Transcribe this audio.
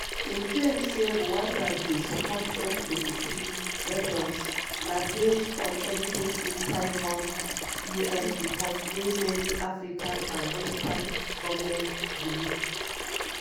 im claim say rwanda dey support m23 rebels na base on evidence inside one un report wey many african and western goments believe.